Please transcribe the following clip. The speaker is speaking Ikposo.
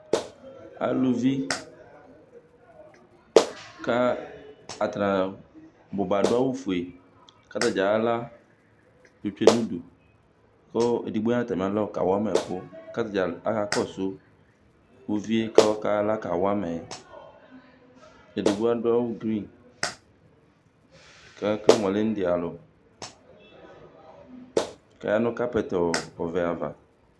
Aluvi kʋ atanɩ a bʋ ba adʋ awʋfue kʋ atanɩ ayɔ aɣla yɔtsue nʋ udu kʋ edigbo ya nʋ atamɩalɔ kawa ma ɛkʋ kʋ ata dza akakɔsʋ uvi yɛ kʋ ɔkayɔ aɣla kawa ma yɛ Edigbo adʋ awʋ gri kʋ ekele mʋ ɔlɛ india alʋ kʋ ɔya nʋ kapɛt ɔvɛ ava